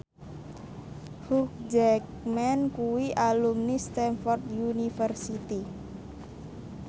Hugh Jackman kuwi alumni Stamford University